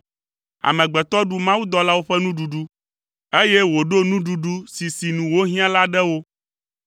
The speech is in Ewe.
Amegbetɔ ɖu mawudɔlawo ƒe nuɖuɖu, eye wòɖo nuɖuɖu si sinu wohiã la ɖe wo.